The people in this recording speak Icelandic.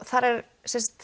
þar er